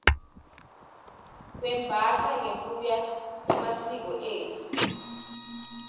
kwembastsa ngekuya ngemasiko etfu